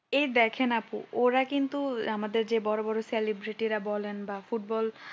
এই দেখেন আপু ওরা কিন্তু আমাদের যে বড় বড় celebrity রা বলেন বা ফুটবল